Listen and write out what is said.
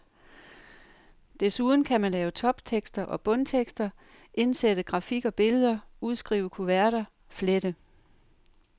Desuden kan man lave toptekster og bundtekster, indsætte grafik og billeder, udskrive kuverter, flette.